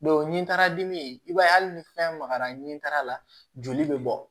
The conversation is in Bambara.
ni n taara dimi i b'a ye hali ni fɛn magara nin taara la joli bɛ bɔ